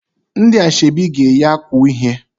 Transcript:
Ndị ashebi ga-eyi akwa uhie